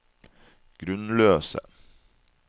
grunnløse